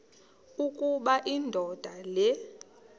ukuba indoda le